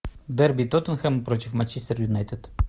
дерби тоттенхэм против манчестер юнайтед